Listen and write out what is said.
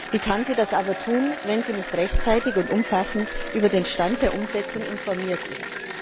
Wie kann sie das aber tun, wenn sie nicht rechtzeitig und umfassend über den Stand der Umsetzung informiert ist?